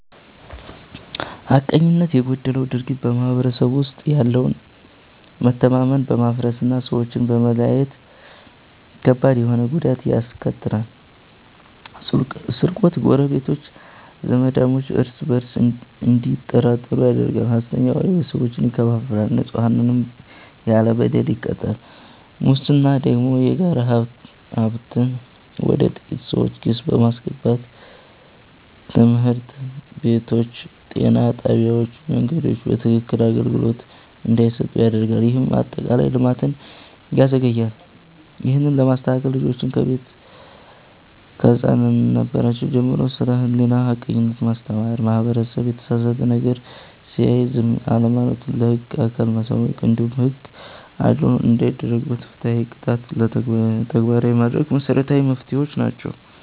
ሐቀኝነት የጎደለው ድርጊት በማህበረሰቡ ውስጥ ያለውን መተማመን በማፍረስና ሰዎችን በመለያየት ከባድ ተሆነ ጉዳት ያስከትላል፤ ስርቆት ጎረቤቶች፣ ዘማዳሞች እርስ በእርስ እንዲጠራጠሩ ያደርጋል፣ ሐሰተኛ ወሬ ቤተሰቦችን ይከፋፍላል፣ ንጹሐንንም ያለ በደል ይቀጣል። ሙስና ደግሞ የጋራ ሀብትን ወደ ጥቂት ሰዎች ኪስ በማስገባት ትምህርት ቤቶች፣ ጤና ጣቢያዎችና መንገዶች በትክክክን አገልግሎት እንዳይሰጡ ያደርጋል፤ ይህም አጠቃላይ ልማትን ያዘገያል። ይህንን ለመከላከል ልጆችን ከቤት ከህፃንነራቸው ጀምሮ ስለ ሕሊናና ሐቀኝነት ማስተማር፣ ማህበረሰቡ የተሳሳተ ነገር ሲያይ ዝም አለማለቱና ለህግ አካል ማሳወቁ፣ እንዲሁም ሕግ አድልዎ ሳይደረግበት ፍትሃዊ ቅጣትን ተግባራዊ ማድረጉ መሰረታዊ መፍትሄዎች ናቸው።